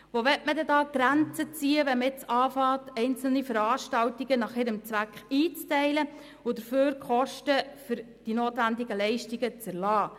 Wo will man denn die Grenzen ziehen, wenn man anfängt, einzelne Veranstaltungen nach ihrem Zweck einzuteilen und dafür die Kosten für die notwendigen Leistungen zu erlassen?